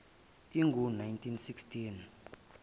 ingu nineteen six